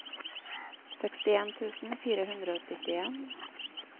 sekstien tusen fire hundre og syttien